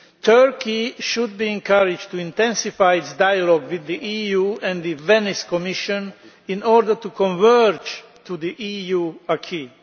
Turkey should be encouraged to intensify its dialogue with the EU and the Venice Commission in order to converge to the EU aquis.